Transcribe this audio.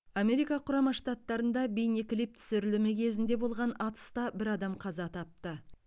америка құрама штаттарында бейнеклип түсірілімі кезінде болған атыста бір адам қаза тапты